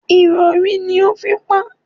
Ìrọ̀rí ni ó fi pa á.